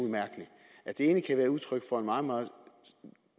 at det det ene kan være udtryk for en meget meget